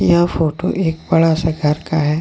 यह फोटो एक बड़ा सा घर का है।